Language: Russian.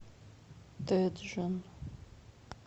тэджон